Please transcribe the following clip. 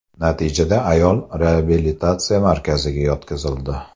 Natijada ayol reabilitatsiya markaziga yotqizildi.